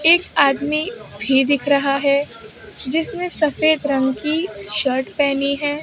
एक आदमी भी दिख रहा है जिसने सफेद रंग की शर्ट पहनी है।